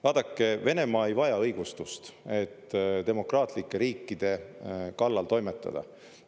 Vaadake, Venemaa ei vaja õigustust, et demokraatlike riikide kallal toimetada.